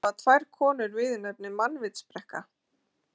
Í Landnámu hafa tvær konur viðurnefnið mannvitsbrekka.